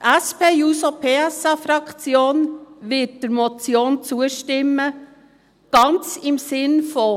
Die SP-JUSO-PSA-Fraktion wird der Motion zustimmen, ganz im Sinn von: